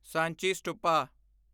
Sanchi stupa